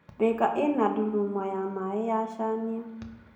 Thika ĩna ndururumo ya maĩ ya Chania.